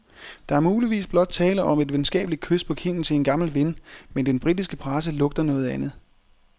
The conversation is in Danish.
Der er muligvis blot tale om et venskabeligt kys på kinden til en gammel ven, men den britiske presse lugter noget andet.